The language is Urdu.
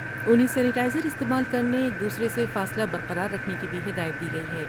انھیں سمینیا ئز راستعمال کر نے ایک دوسرے سے فاصلہ برقرار رکھنے کی بھی ہدایت دی گئی ہے ۔